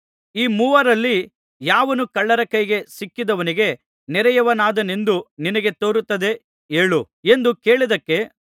ಈ ಮೂವರಲ್ಲಿ ಯಾವನು ಕಳ್ಳರ ಕೈಗೆ ಸಿಕ್ಕಿದವನಿಗೆ ನೆರೆಯವನಾದನೆಂದು ನಿನಗೆ ತೋರುತ್ತದೆ ಹೇಳು ಎಂದು ಕೇಳಿದ್ದಕ್ಕೆ